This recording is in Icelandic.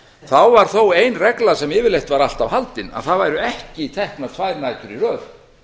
þá var þó ein regla sem yfirleitt var alltaf haldin að ekki væru teknar tvær nætur í röð